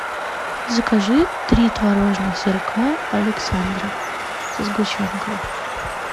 закажи три творожных сырка александров со сгущенкой